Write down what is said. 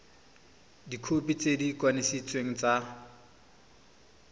dikhopi tse di kanisitsweng tsa